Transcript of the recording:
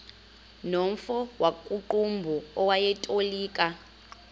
nomfo wakuqumbu owayetolika